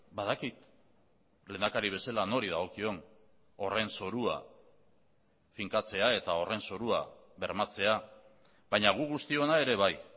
badakit lehendakari bezala nori dagokion horren zorua finkatzea eta horren zorua bermatzea baina gu guztiona ere bai